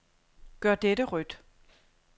Gør dette rødt.